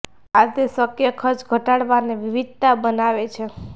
આ તે શક્ય ખર્ચ ઘટાડવા અને વિવિધતા બનાવે છે